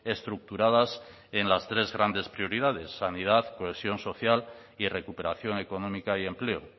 estructuradas en las tres grandes prioridades sanidad cohesión social y recuperación económica y empleo